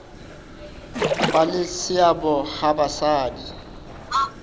ba le seabo ha basadi